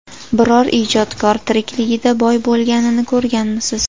Biror ijodkor tirikligida boy bo‘lganini ko‘rganmisiz?